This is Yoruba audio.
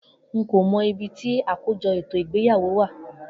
Nko mo ibi ti akojo eto igbeyawo wa.